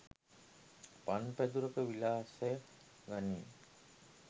පන් පැදුරක විලාසය ගනී.